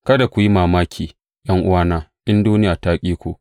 Kada ku yi mamaki ’yan’uwana, in duniya ta ƙi ku.